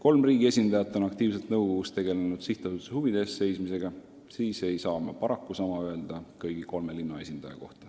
Kolm riigi esindajat on nõukogus energiliselt seisnud sihtasutuse huvide eest, kõigi kolme linna esindaja kohta seda kahjuks öelda ei saa.